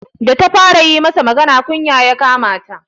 Da ta fara yi masa magana, kunya ya kama ta.